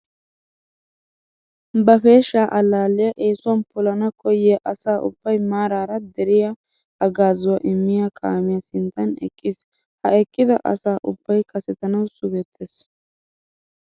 Ba peeshsha allaalliya eesuwan polana koyyiya asa ubbay maaraara deriyassi haggaazuwa immiya kaamiya sinttan eqqiis. Ha eqqida asa ubbay kasetanawu sugettees.